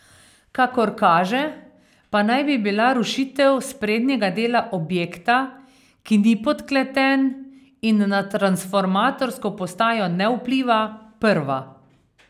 Kakor kaže, pa naj bi bila rušitev sprednjega dela objekta, ki ni podkleten in na transformatorsko postajo ne vpliva, prva.